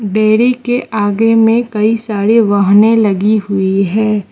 Dairy के आगे में कई सारी वाहने लगीं हुईं हैं।